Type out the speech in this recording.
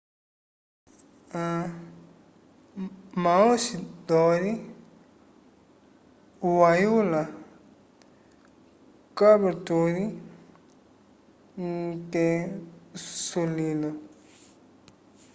maoochydore wayula caboolture ke sulilo